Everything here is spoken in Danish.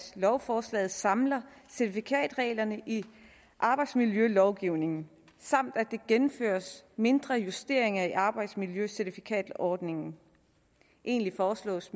lovforslaget samler certifikatreglerne i arbejdsmiljølovgivningen samt at der gennemføres mindre justeringer i arbejdsmiljøcertifikatordningen endelig foreslås